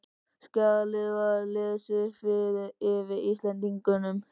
Skjalið var lesið upp yfir Íslendingunum.